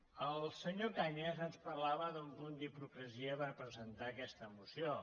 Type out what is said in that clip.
el senyor cañas ens parlava d’un punt d’hipocresia per presen·tar aquesta moció